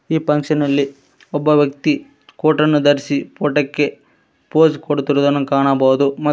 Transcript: ಈ ಫಂಕ್ಷನ್ನಲ್ಲಿ ಒಬ್ಬ ವ್ಯಕ್ತಿ ಕೋಟನ್ನು ಧರಿಸಿ ಪೋಟೋ ಕ್ಕೆ ಪೋಸ್ ಕೊಡುತ್ತಿರುವುದನ್ನು ಕಾಣಬಹುದು